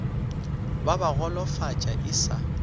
ba ba golofatša e sa